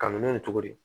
Ka minɛn in to di